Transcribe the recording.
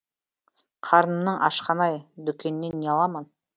қарнымның ашқаны ай дүкеннен не аламын